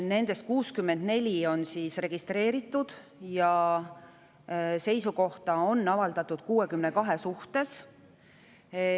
Nendest 64 on registreeritud ja seisukohta on avaldatud neist 62 suhtes.